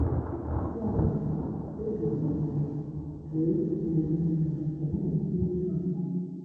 Ya mere, Ọ biliri n’ala wee biliri n’ala wee nọdụ n’elu akwa.